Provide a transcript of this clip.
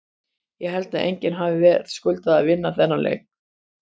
Ég held að enginn hafi verðskuldað að vinna þennan leik.